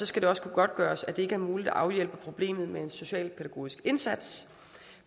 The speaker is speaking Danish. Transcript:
skal også kunne godtgøres at det ikke er muligt at afhjælpe problemet med en socialpædagogisk indsats